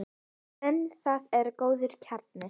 En það er góður kjarni.